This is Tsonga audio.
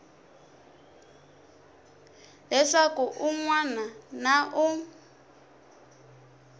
leswaku un wana na un